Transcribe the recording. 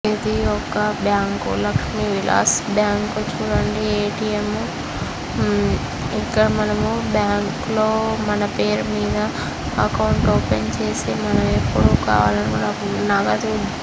ఇది ఒక bank. Lakshmi Vilas bank చూడండి ఏ_టి_ఎం . హ్మ్ ఇక్కడ మనం బ్యాంకు లో మన పేరు మీద అకౌంట్ ఓపెన్ చేసి మనం ఎప్పుడు కావాలి అనుకుంటే అప్పుడు నగదు--